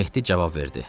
Mehdi cavab verdi.